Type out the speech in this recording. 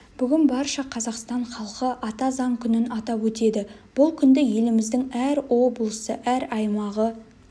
бүгін барша қазақстан халқы ата заң күнін атап өтеді бұл күнді еліміздің әр облысы әр аймағы